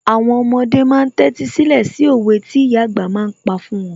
Àwọn ọmọdé ma ń tẹ́tí sílẹ̀ sí òwe tí ìyà àgbà ma ń pa fún wọn